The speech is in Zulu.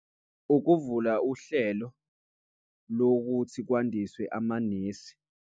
Ukuvula uhlelo lokuthi kwandiswe amanesi.